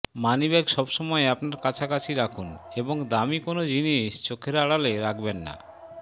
money bag সবসময় আপনার কাছাকাছি রাখুন এবং দামী কোনো জিনিস চোখের আড়ালে রাখবেন না